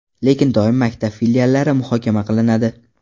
Lekin doim maktab filiallari muhokama qilinadi.